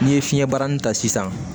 N'i ye fiɲɛ barani ta sisan